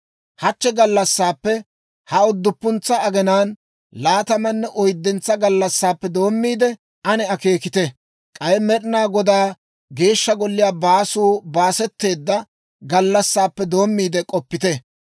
«Hachche gallassaappe, ha udduppuntsa agenaan laatamanne oyddentsa gallassaappe doommiide, ane akeekite; k'ay Med'inaa Godaa Geeshsha Golliyaa baasuu baasetteedda gallassaappe doommiide k'oppite.